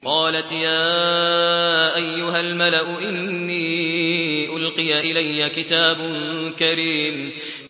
قَالَتْ يَا أَيُّهَا الْمَلَأُ إِنِّي أُلْقِيَ إِلَيَّ كِتَابٌ كَرِيمٌ